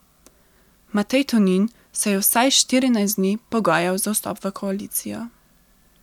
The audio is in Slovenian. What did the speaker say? Matej Tonin se je vsaj štirinajst dni pogajal za vstop v koalicijo.